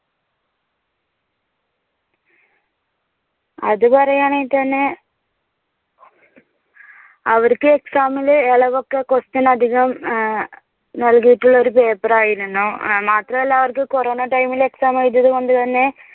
അത് പറയാണെങ്കിൽ തന്നെ അവർക്ക് exam ഇല് എളവൊക്കെ question അധികം നൽകിയിട്ടുള്ള ഒരു paper ആയിരുന്നു. മാത്രമല്ല അവർക്ക് കൊറോണ time ൽ exam എഴുതിയതുകൊണ്ട് തന്നെ